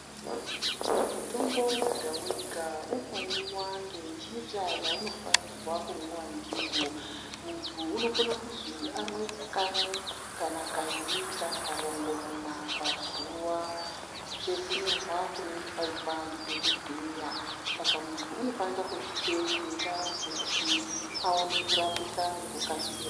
Mutombo wega-wega unomwiwa ngenjira yaunofanirwa kumwiwa ndiwo. Muntu unokone kuzwi amwe kamwe kana kairi kana karongomuna pazuwa sekunyorwa kunenge kwaitwa ndidhokodheya. Saka munhu unofanika kuzviteedzera kuti aone kurapika ngekukasira.